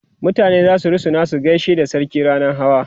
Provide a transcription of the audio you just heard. mutane zasu rusuna su gaishe da sarki rannan Hawa